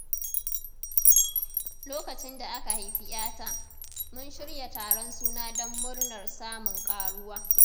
Lokacin da aka haifi ‘yata, mun shirya taron suna don murnar samun ƙaruwa.